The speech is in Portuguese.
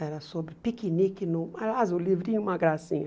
Era sobre piquenique no... Aliás, o livrinho é uma gracinha.